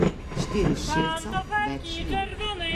Štiri šilca, več ne.